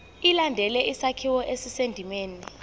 ilandele isakhiwo esisendimeni